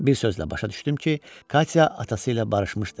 Bir sözlə, başa düşdüm ki, Katya atası ilə barışmışdı.